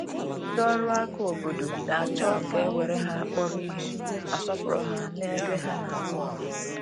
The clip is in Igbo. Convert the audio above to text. Ndị ọrụ aka obodo na-achọ ka e were ha kpọrọ ihe, ma sọọpụrụ ha n’ebe ha na-arụ ọrụ.